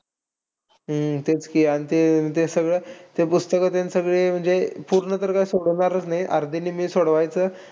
हम्म तेच की अन ते-ते सगळं ते पुस्तकं आणि सगळी म्हणजे पूर्ण तर काय सोडवणारच नाही पण अर्धे निम्मेच सोडवायचं.